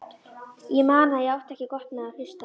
Ég man að ég átti ekki gott með að hlusta.